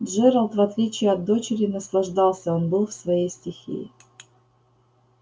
джералд в отличие от дочери наслаждался он был в своей стихии